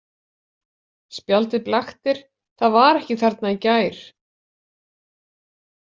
Spjaldið blaktir, það var ekki þarna í gær.